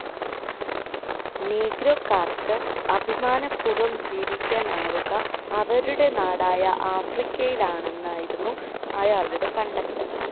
നീഗ്രോകൾക്ക് അഭിമാനപൂർവം ജീവിക്കാനാവുക അവരുടെ നാടായ ആഫ്രിക്കയിലാണെന്നായിരുന്നു അയാളുടെ കണ്ടെത്തൽ.